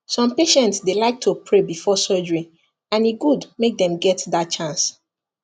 some patients dey like to pray before surgery and e good make dem get that chance